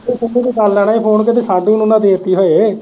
ਤੂੰ ਸਿੰਮੀ ਨੂੰ ਕਰ ਲੈਣਾ ਸੀ ਫੋਨ ਕਿਤੇ ਸਾਡੂ ਨੂੰ ਨਾ ਦੇ ਤੀ ਹੋਵੇ।